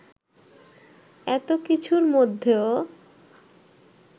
এতো কিছুর মধ্যেও